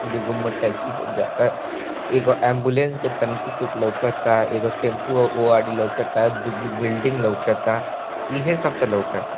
दुगो मोटरसाइकिल पे जाता एगो एम्बुलेंस के तानिकु सूक लौकाता एगो टेंपू ओ आरी लौकता दूगो बिल्डिंग लौकता इहें सब ता लौकता।